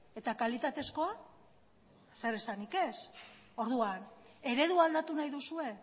eta kalitatezkoa zer esanik ez orduan eredua aldatu nahi duzue